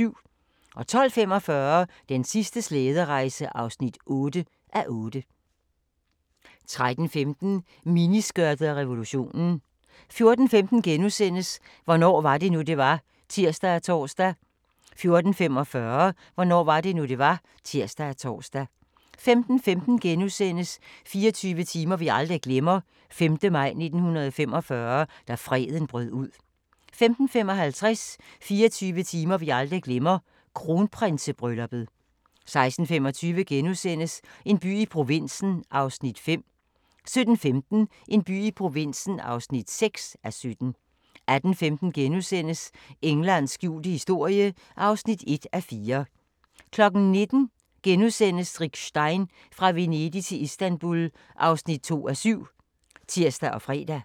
12:45: Den sidste slæderejse (8:8) 13:15: Miniskørtet og revolutionen 14:15: Hvornår var det nu, det var? *(tir og tor) 14:45: Hvornår var det nu, det var? (tir og tor) 15:15: 24 timer vi aldrig glemmer: 5. maj 1945 – da freden brød ud * 15:55: 24 timer vi aldrig glemmer – Kronprinsebrylluppet 16:25: En by i provinsen (5:17)* 17:15: En by i provinsen (6:17) 18:15: Englands skjulte historie (1:4)* 19:00: Rick Stein: Fra Venedig til Istanbul (2:7)*(tir og fre)